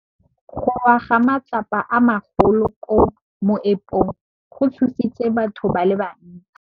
Go wa ga matlapa a magolo ko moepong go tshositse batho ba le bantsi.